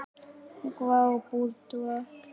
Antígva og Barbúda